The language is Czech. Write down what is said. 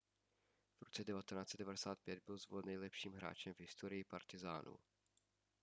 v roce 1995 byl zvolen nejlepším hráčem v historii partizánů